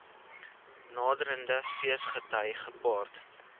naderende feesgety gepaard